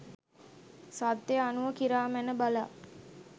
සත්‍යය අනුව කිරා මැන බලා